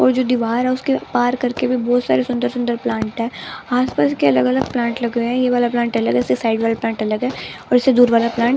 और जो दीवार है उसके पार करके भी बहुत सारे सुंदर-सुंदर प्लांट है आसपास के अलग-अलग प्लांट लगे हुए हैं ये वाला प्लांट अलग है इससे साइड वाला प्लांट अलग है और इससे दूर वाला प्लांट --